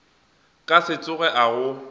ka se tsoge a go